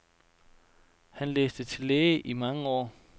Han læste til læge i mange år.